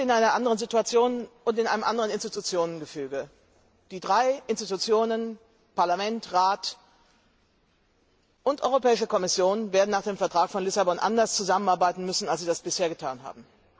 Herr Barroso, wir sind in einer anderen Situation und in einem anderen Institutionengefüge. Die drei Institutionen Parlament, Rat und Europäische Kommission werden nach dem Vertrag von Lissabon anders zusammenarbeiten müssen, als sie es bisher getan haben.